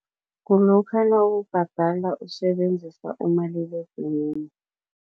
Kulokha nawubhadala usebenzisa umaliledinini.